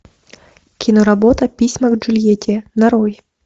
киноработа письма к джульетте нарой